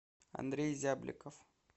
андрей зябликов